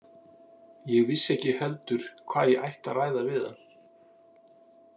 Ég vissi ekki heldur hvað ég ætti að ræða við hann.